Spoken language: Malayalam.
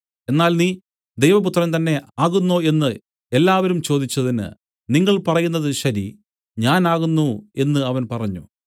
എന്നാൽ നീ ദൈവപുത്രൻ തന്നെ ആകുന്നോ എന്നു എല്ലാവരും ചോദിച്ചതിന് നിങ്ങൾ പറയുന്നത് ശരി ഞാൻ ആകുന്നു എന്നു അവൻ പറഞ്ഞു